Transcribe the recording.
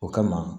O kama